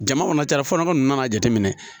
Jama kɔnɔ tara fɔlɔ nana jateminɛ